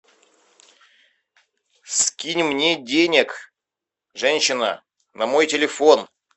скинь мне денег женщина на мой телефон